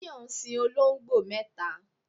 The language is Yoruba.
Tayo ń sin olongbo mẹta